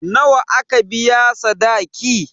Nawa aka biya sadaki?